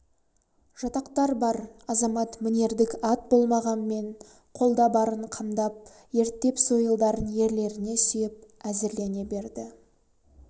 жатақтар бар азамат мінердік ат болмағанмен қолда барын қамдап ерттеп сойылдарын ерлеріне сүйеп әзірлене берді